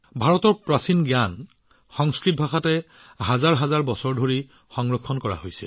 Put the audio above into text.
ভাৰতৰ প্ৰাচীন জ্ঞানৰ বহুখিনি সংস্কৃত ভাষাত সহস্ৰাধিক বছৰ ধৰি সংৰক্ষিত হৈ আছে